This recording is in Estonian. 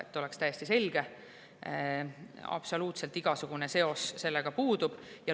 Et oleks täiesti selge: absoluutselt igasugune seos sellega puudub.